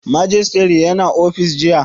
Majistare ya na ofis jiya